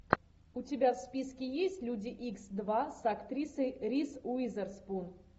у тебя в списке есть люди икс два с актрисой риз уизерспун